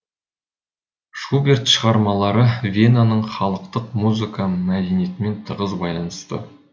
шуберт шығармалары венаның халықтық музыка мәдениетімен тығыз байланысты